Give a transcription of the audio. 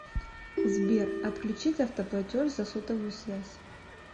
сбер отключить автоплатеж за сотовую связь